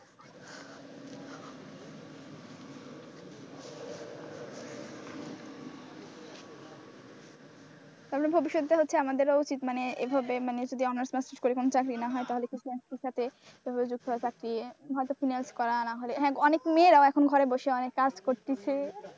তারপরে ভবিষ্যতে হচ্ছে আমাদেরও উচিত এভাবে মানে যদি honours masters করে যদি চাকরি না হয় তাহলে finance এর সাথে চাকরি হয়তো finance করা না হলে, হ্যাঁ অনেক মেয়েরাও এখন ঘরে বসে কাজ করতেছে।